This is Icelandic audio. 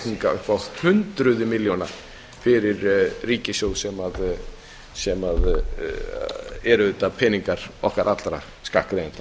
bakreikninga upp á hundruð milljóna fyrir ríkissjóð sem eru auðvitað peningar okkar allra skattgreiðenda